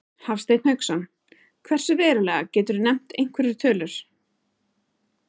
Hafsteinn Hauksson: Hversu verulega, geturðu nefnt einhverjar tölur?